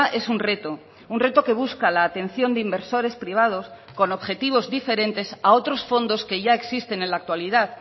es un reto un reto que busca la atención de inversores privados con objetivos diferentes a otros fondos que ya existen en la actualidad